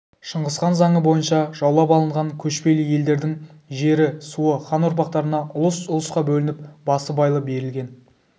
шыңғысхан заңы бойынша жаулап алынған көшпелі елдердің жері суы хан ұрпақтарына ұлыс-ұлысқа бөлініп басыбайлы берілген